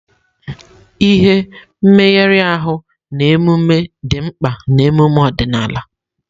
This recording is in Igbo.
Ihe, mmegharị ahụ, na emume dị mkpa na emume ọdịnala.